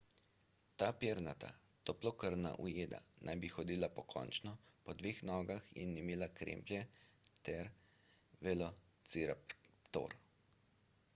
ta pernata toplokrvna ujeda naj bi hodila pokončno po dveh nogah in imela kremplje kot velociraptor